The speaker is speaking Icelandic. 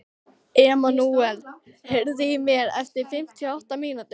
Emmanúel, heyrðu í mér eftir fimmtíu og átta mínútur.